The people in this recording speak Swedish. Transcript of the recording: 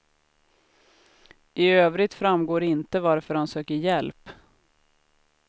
I övrigt framgår inte varför han söker hjälp.